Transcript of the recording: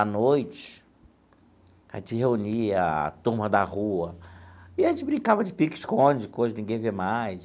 À noite, a gente reunia a turma da rua e a gente brincava de pique-esconde, coisa que ninguém vê mais.